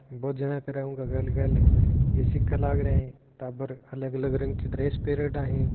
बहुत जन के ऊक गल गल ये सीखा लाग रया है टाबर अलग-अलग रंग की ड्रेस पेरेड़ा है।